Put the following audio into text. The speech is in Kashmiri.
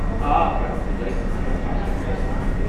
آ پرٛٮ۪تھ پوزایہِ خٲطرٕ چھُ اکھ خاص وقت آسان۔